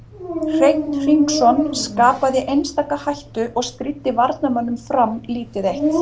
Hreinn Hringsson Skapaði einstaka hættu og stríddi varnarmönnum Fram lítið eitt.